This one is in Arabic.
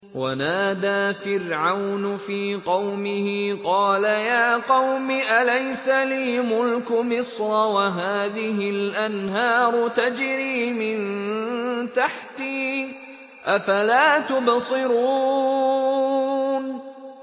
وَنَادَىٰ فِرْعَوْنُ فِي قَوْمِهِ قَالَ يَا قَوْمِ أَلَيْسَ لِي مُلْكُ مِصْرَ وَهَٰذِهِ الْأَنْهَارُ تَجْرِي مِن تَحْتِي ۖ أَفَلَا تُبْصِرُونَ